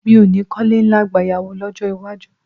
Mi ò ní kọ́lé ńlá gbayawu lọ́jọ́ iwájú